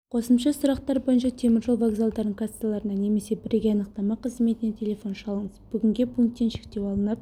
қосымша сұрақтар бойынша теміржол вокзалдарының кассаларына немесе бірегей анықтама қызметіне телефон шалыңыз бүгінге пункттен шектеу алынып